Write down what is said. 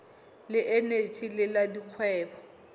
le eneji le la dikgwebo